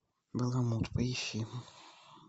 баламут поищи